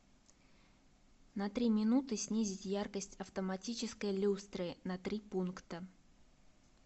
на три минуты снизить яркость автоматической люстры на три пункта